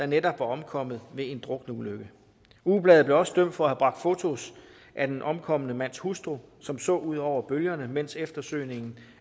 netop var omkommet ved en drukneulykke ugebladet blev også dømt for at have bragt fotos af den omkomne mands hustru som så ud over bølgerne mens eftersøgningen